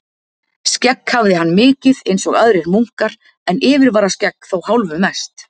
Skegg hafði hann mikið einsog aðrir munkar, en yfirvararskegg þó hálfu mest.